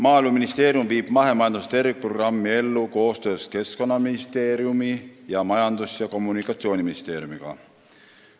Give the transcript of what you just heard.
" Maaeluministeerium viib mahemajanduse tervikprogrammi ellu koostöös Keskkonnaministeeriumi ning Majandus- ja Kommunikatsiooniministeeriumiga.